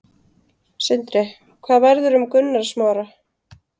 Sindri: Hvað verður um Gunnar Smára?